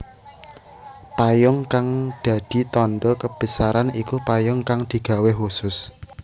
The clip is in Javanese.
Payung kang dadi tandha kebesaran iku payung kang digawé khusus